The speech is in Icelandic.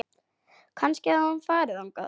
Kannski hafði hann farið þangað.